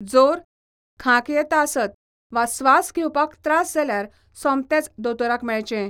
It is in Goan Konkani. जोर, खांक येता आसत वा स्वास घेवपाक त्रास जाल्यार सोमतेच दोतोराक मेळचें.